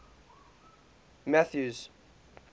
mathews